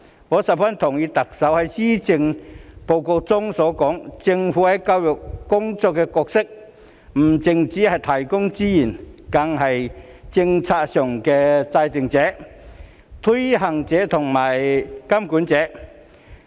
我十分同意特首在施政報告中所說，政府在教育工作的角色不只是提供資源，更是政策的制訂者、推行者及監管者。